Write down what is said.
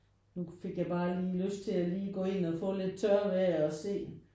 Nu fik jeg bare lige lyst til lige at gå ind og få lidt tørvejr og se